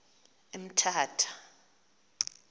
emthatha